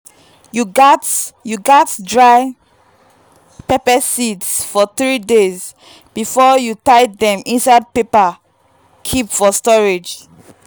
you gats you gats dry pepper seeds for three days before you tie dem inside paper keep for storage.